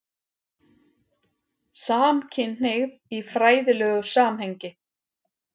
SAMKYNHNEIGÐ Í FRÆÐILEGU SAMHENGI